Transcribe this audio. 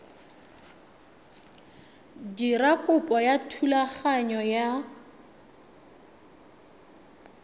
dira kopo ya thulaganyo ya